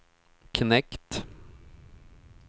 knekt